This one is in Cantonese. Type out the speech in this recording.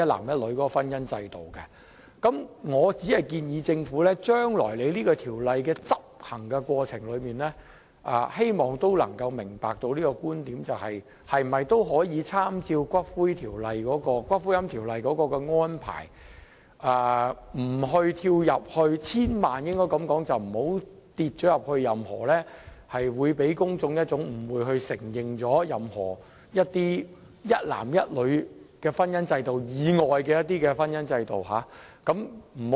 我只是向政府提出建議，希望政府將來在執行這項《條例草案》時，也能夠明白這觀點，參照《私營骨灰安置所條例草案》的做法，千萬不要讓市民誤會政府是承認任何一男一女婚姻制度以外的婚姻制度。